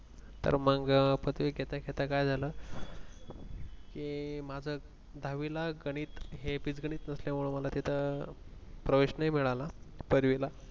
तर मग पदवी घेता घेता काय झालं कि माझं दहावीला गणित बीजगणित नसल्यामुळे मला तिथं प्रवेश नाही मिळाला पदविला तिथे